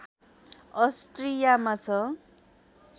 अस्ट्रियामा छ